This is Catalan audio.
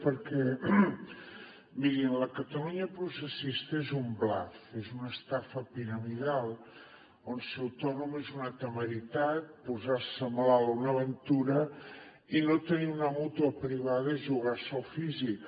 perquè mirin la catalunya processista és un bluff és una estafa piramidal on ser autònom és una temeritat posar se malalt una aventura i no tenir una mútua privada jugar se el físic